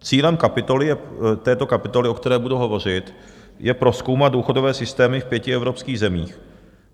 Cílem této kapitoly, o které budu hovořit, je prozkoumat důchodové systémy v pěti evropských zemích.